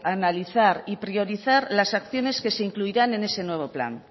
analizar y priorizar las acciones que se incluirán en ese nuevo plan